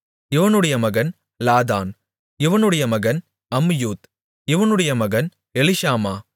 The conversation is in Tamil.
இவனுடைய மகன் லாதான் இவனுடைய மகன் அம்மீயூத் இவனுடைய மகன் எலிஷாமா